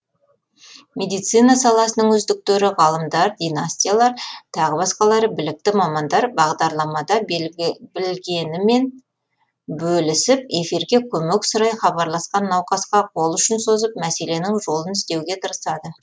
медицина саласының үздіктері ғалымдар династиялар тағы басқалары білікті мамандар бағарламада білгенімен бөлісіп эфирге көмек сұрай хабарласқан науқасқа қолұшын созып мәселенің жолын іздеуге тырысады